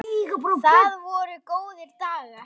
Það voru góðir dagar.